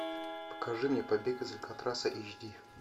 покажи мне побег из алькатраса эйч ди